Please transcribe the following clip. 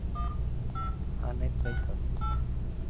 Hann einn veit það.